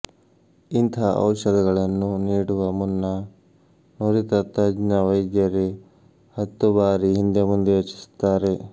ಇಂತಹ ಔಷಧಗಳನ್ನು ನೀಡುವ ಮುನ್ನ ನುರಿತ ತಜ್ಞ ವೈದ್ಯರೇ ಹತ್ತು ಬಾರಿ ಹಿಂದೆ ಮುಂದೆ ಯೋಚಿಸುತ್ತಾರೆ